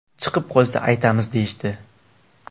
Chiqib qolsa aytamiz, deyishdi.